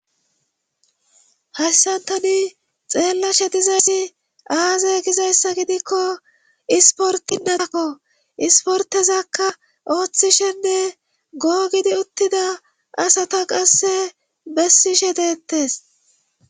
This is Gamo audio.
Hayssantani xeellashe dizayssi aazay gizayssa gidikko isportinnatakko isportezakka ooththishenne googidi uttida asata qasse bessishe deettes.